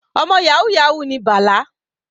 Ọmọ yahoo yahoo ni Bala.